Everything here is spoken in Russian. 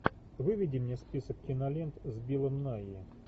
выведи мне список кинолент с биллом найи